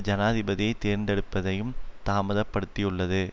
ஜனாதிபதியை தேர்ந்தெடுப்பதையும் தாமதப்படுத்தியுள்ளது